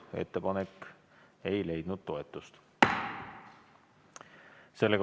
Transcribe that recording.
Ettepanek ei leidnud toetust.